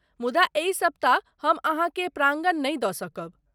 मुदा एहि सप्ताह हम अहाँकेँ प्राङ्गण नहि दऽ सकब।